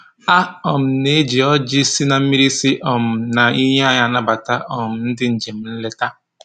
A um na-eji ọjị na mmiri si um na iyi anyị anabata um ndị njem nleta